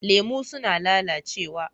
Lemu suna lalacewa.